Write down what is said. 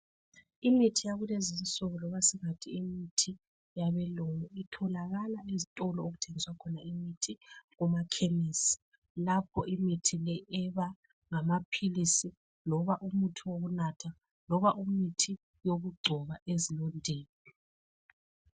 Imithi yakulezi insuku, loba singathi imithi yabelungu. Itholakala ezitolo, okuthengiswa khona imithi. Kumakhemisi. Lapho imithi le, eba ngamaphilisi, loba umuthi wokunatha, loba umuthi wokugcoba ezilondeni.